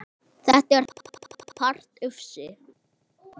Þetta er mestan part ufsi